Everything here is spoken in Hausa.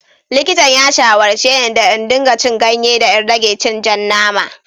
Likitan ya shawarce ne da in dinga cin ganye da in rage cin ja nama.